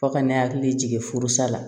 Fɔ ka ne hakili jigin furusi la